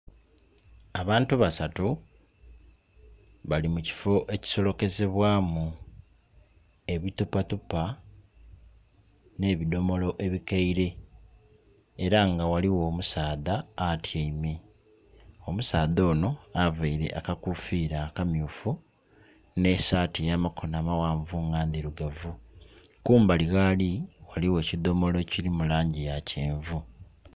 Abantu basatu bali mu kifo ekisolokezebwamu ebi tupa tupa ne bidomolo ebikeire era nga ghaligho omusaadha atyeime. Omusaadha ono aveire akakufira akamyufu ne saati eyamakono amaghanvu nga ndhirugavu. Kumbali ghali ghaligho ekidomolo ekiri mu langi ya kyenvu.